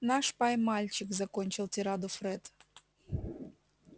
наш пай-мальчик закончил тираду фред